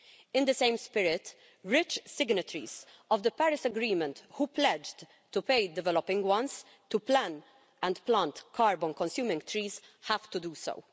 In the same spirit, rich signatories of the Paris Agreement who pledged to pay developing ones to plan and plant carbon-consuming trees have to do so.